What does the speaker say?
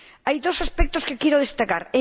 Hay dos aspectos que quiero destacar.